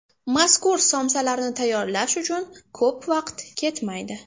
Mazkur somsalarni tayyorlash uchun ko‘p vaqt ketmaydi.